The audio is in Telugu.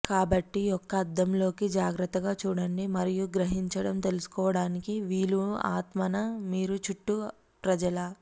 కాబట్టి యొక్క అద్దంలోకి జాగ్రత్తగా చూడండి మరియు గ్రహించడం తెలుసుకోవడానికి వీలు ఆత్మ న మీరు చుట్టూ ప్రజలు ఆ